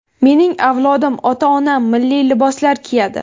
Mening avlodim, ota-onam milliy liboslar kiyadi.